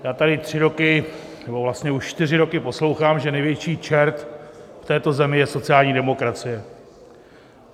Já tady tři roky, nebo vlastně už čtyři roky poslouchám, že největší čert v této zemi je sociální demokracie.